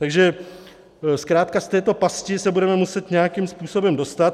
Takže zkrátka z této pasti se budeme muset nějakým způsobem dostat.